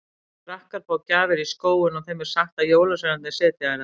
Krakkar fá gjafir í skóinn og þeim er sagt að jólasveinarnir setji þær þar.